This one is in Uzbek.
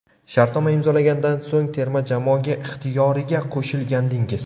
Shartnoma imzolagandan so‘ng terma jamoaga ixtiyoriga qo‘shilgandingiz.